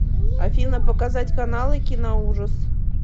афина показать каналы киноужас